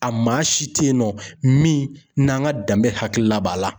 A maa si teyinɔ min n'an ka danbe hakilila b'a la.